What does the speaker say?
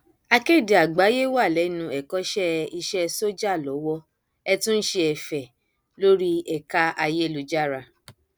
akéde àgbáyéé wà lẹnu ẹkọṣẹ iṣẹ sójà lowó ẹ tún ń ṣe ẹfẹ lórí ẹka ayélujára